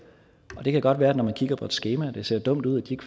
det kan godt være når man kigger på et skema at det ser dumt ud at de